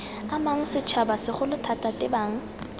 amang setšhaba segolo thata tebang